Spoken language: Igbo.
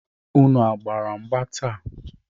Unu gbara mgba taa?